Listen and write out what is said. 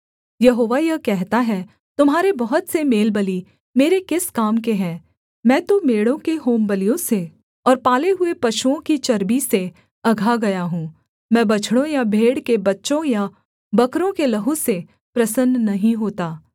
यहोवा यह कहता है तुम्हारे बहुत से मेलबलि मेरे किस काम के हैं मैं तो मेढ़ों के होमबलियों से और पाले हुए पशुओं की चर्बी से अघा गया हूँ मैं बछड़ों या भेड़ के बच्चों या बकरों के लहू से प्रसन्न नहीं होता